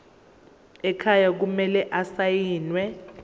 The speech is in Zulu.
ekhaya kumele asayiniwe